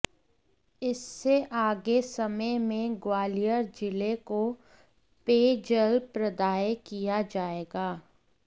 इससे आगे समय में ग्वालियर जिले को पेय जल प्रदाय किया जाएगा